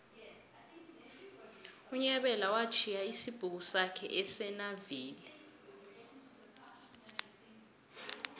unyabela watjhiya isibhuku sakhe esonaville